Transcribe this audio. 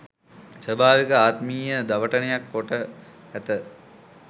ස්වභාවික ආත්මීය දවටනයක් කොට ඇත.